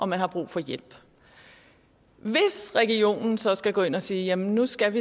man har brug for hjælp hvis regionen så skal gå ind og sige at nu skal